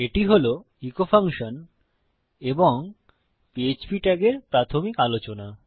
এটি হল echo function এবং পিএচপি ট্যাগের প্রাথমিক আলোচনা